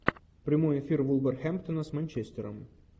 прямой эфир вулверхэмптона с манчестером